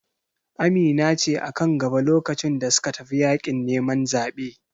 Amina ce a kan gaba lokacin da suka tafi yaƙin neman zaɓe